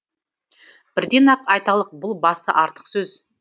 бірден ақ айталық бұл басы артық сөз